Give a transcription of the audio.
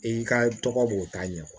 I ka tɔgɔ b'o ta ɲɛfɛ